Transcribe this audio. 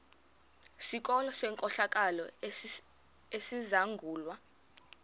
sikolo senkohlakalo esizangulwa